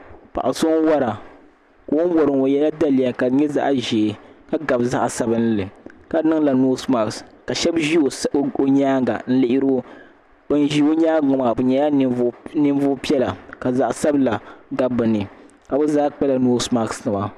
paɣ' so n-wara ka o ni wari ŋɔ o yela daliya ka di nyɛ zaɣ' ʒee ka gabi zaɣ' sabinli ka niŋla noosi maks ka shɛba ʒi o nyaaga n-lihiri o ban ʒi o nyaaga maa bɛ nyɛla ninvuɣ' piɛla ka zaɣ' sabila gabi bɛ ni ka bɛ zaa kpala neesi mask nima.